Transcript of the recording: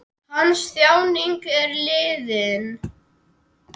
Hans þjáning er liðin.